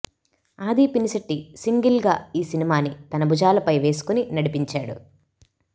ఆది పినిశెట్టి సింగిల్ గా ఈ సినిమాని తన భుజాలపై వేసుకొని నడిపించాడు